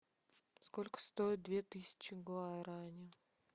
сколько стоит две тысячи гуарани